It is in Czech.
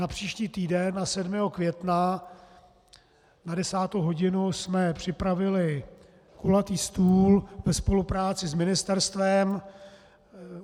Na příští týden, na 7. května na 10. hodinu, jsme připravili kulatý stůl ve spolupráci s ministerstvem.